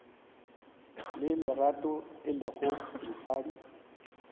le lerato e lego mosadi